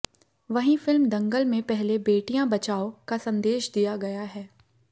वहीं फिल्म दंगल में पहले बेटियां बचाओ का सन्देश दिया गया है